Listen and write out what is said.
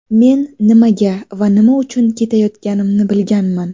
Men nimaga va nima uchun ketayotganimni bilganman.